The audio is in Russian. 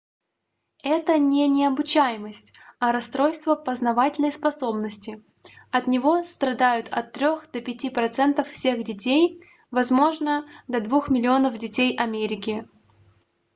это не необучаемость а расстройство познавательной способности от него страдают от трех до пяти процентов всех детей возможно до двух миллионов детей америки